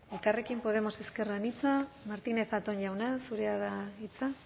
elkarrekin podemos ezker anitza martínez zatón jauna zurea da hitza